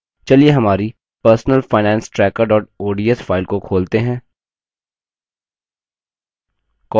चलिए हमारी personal finance tracker ods file को खोलते हैं